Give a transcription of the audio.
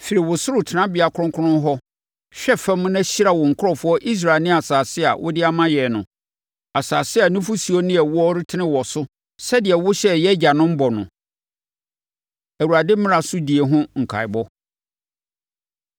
Firi wo soro tenabea kronkron hɔ hwɛ fam na hyira wo nkurɔfoɔ Israel ne asase a wode ama yɛn no—asase a nufosuo ne ɛwoɔ retene wɔ so sɛdeɛ wohyɛɛ yɛn agyanom bɔ no.” Awurade Mmara So Die Ho Nkaeɛbɔ